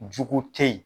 Jugu te ye